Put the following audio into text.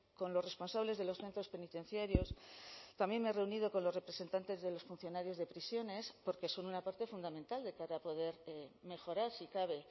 con los responsables de los centros penitenciarios también me he reunido con los representantes de los funcionarios de prisiones porque son una parte fundamental de cara a poder mejorar si cabe